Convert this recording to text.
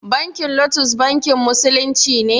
Bankin lotus bankin musulunci ne?